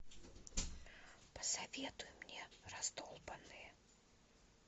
посоветуй мне раздолбанные